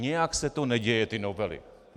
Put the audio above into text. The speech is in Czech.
Nějak se to neděje, ty novely.